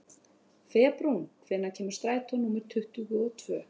Febrún, hvenær kemur strætó númer tuttugu og tvö?